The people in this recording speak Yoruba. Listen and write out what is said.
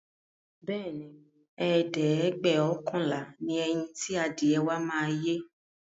Bẹẹni, ẹ̀ẹ́dẹ́gbẹ́ọ̀kànlá ni ẹyin ti adìẹ wa máa yé